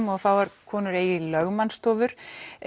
og fáar konur eigi lögmannsstofur